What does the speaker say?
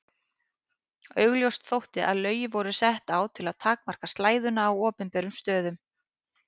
Augljóst þótti þó að lögin voru sett á til að takmarka slæðuna á opinberum stöðum.